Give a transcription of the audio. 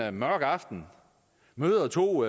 en mørk aften møder to